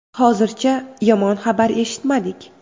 Hozircha yomon xabar eshitmadik”.